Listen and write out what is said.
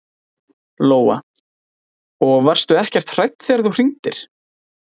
Lóa: Og varstu ekkert hrædd þegar þú hringdir?